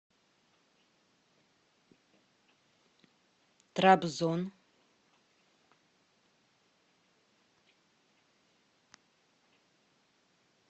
трабзон